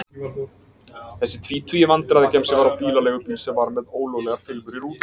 Þessi tvítugi vandræðagemsi var á bílaleigubíl sem var með ólöglegar filmur í rúðunum.